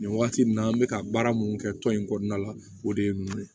Nin wagati in na an bɛ ka baara mun kɛ tɔn in kɔnɔna la o de ye ninnu ye